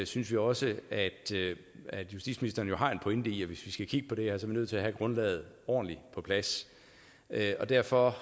synes vi også at at justitsministeren jo har en pointe i at hvis vi skal kigge på det her er vi nødt til at have grundlaget ordentligt på plads og derfor